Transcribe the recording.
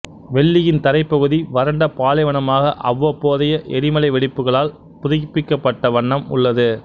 வெள்ளியின் தரைப்பகுதி வறண்ட பாலைவனமாக அவ்வப்போதைய எரிமலை வெடிப்புகளால் புதிப்பிக்கப்பட்ட வண்ணம் உள்ளது